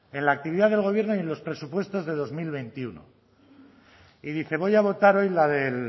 en la actividad del gobierno y en los presupuestos del dos mil veintiuno y dice voy a votar hoy la del